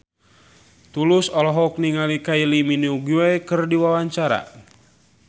Tulus olohok ningali Kylie Minogue keur diwawancara